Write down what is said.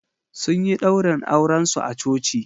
Sun yi ɗaurin aurensu a coci